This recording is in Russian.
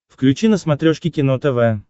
включи на смотрешке кино тв